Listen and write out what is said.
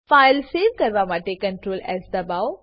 file save કરવા માટે CtrlS દબાઓ